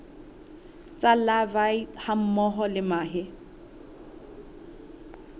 tsa larvae hammoho le mahe